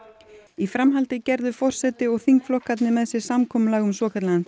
í framhaldi gerðu forseti og þingflokkarnir með sér samkomulag um svokallaðan